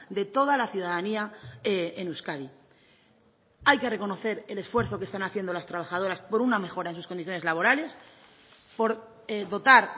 de toda la ciudadanía en euskadi hay que reconocer el esfuerzo que están haciendo las trabajadoras por una mejora en sus condiciones laborales por dotar